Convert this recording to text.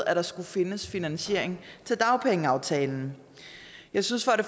at der skulle findes finansiering til dagpengeaftalen jeg synes at